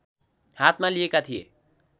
हातमा लिएका थिए